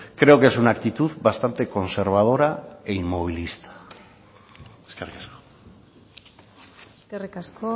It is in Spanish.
creo que es una actitud bastante conservadora e inmovilista eskerrik asko eskerrik asko